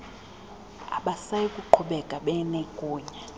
abasayi kuqhubeka benegunya